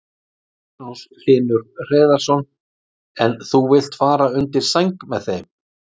Magnús Hlynur Hreiðarsson: En þú vilt fara undir sæng með þeim?